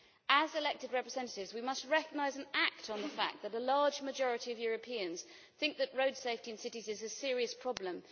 As elected representatives, we must recognise and act on the fact that a large majority of Europeans think that road safety in cities is a serious problem.